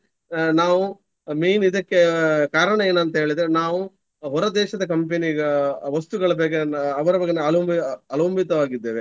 ಅಹ್ ನಾವು main ಇದಕ್ಕೆ ಕಾರಣ ಏನಂತ ಹೇಳಿದ್ರೆ ನಾವು ಹೊರದೇಶದ company ಗ ವಸ್ತುಗಳ ಬಗ್ಗೆ ಅವರ ಬಗ್ಗೆ ಅವಲಂ~ ಅವಲಂಬಿತವಾಗಿದ್ದೇವೆ.